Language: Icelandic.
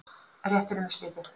Réttinum er slitið.